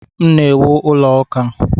M na-ewu ụlọ ụka.